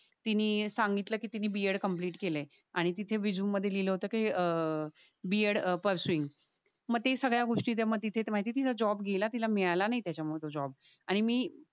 तिनी सांगितल कि तिनी b. edit कम्प्लिट केलाय आणि तिथे रेझूमे मध्ये लिहिलय कि अह b. edit परसुईंग मग त्या सगळ्या गोष्टी त्या माहिती ये तिचा जॉब गेला. तिला मिळाला नाय तेच्या मुळे तो जॉब आणि मी